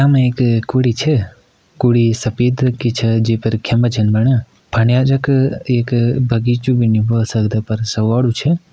यमा एक कुड़ी छा कुड़ी सफ़ेद रंग की छा जेपर खेम्बा छन बणिया फनिया जख एक बगिचु भी नी बो सकदा पर सगौडू छै।